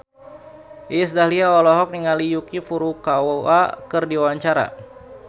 Iis Dahlia olohok ningali Yuki Furukawa keur diwawancara